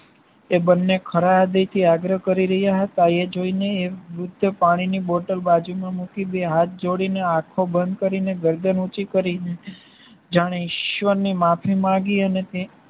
એ બંને ખરાબ એથી દિલથી આગ્રહ કરી રહ્યા હતા. એ જોઈને એ વૃદ્ધ પાણી ની બોટલ બાજુમાં મૂકી બે હાથ જોડી ને આખો બંધ કરીને ગરદન ઉંચી કરી જાણે ઈશ્વરને માફી માંગી અને તે